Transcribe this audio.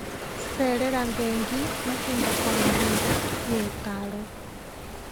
Cerera bengi mahinda kwa mahinda nĩ ũtaaro.